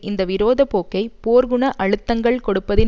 இந்த விரோத போக்கை போர்க்குண அழுத்தங்கள் கொடுப்பதின்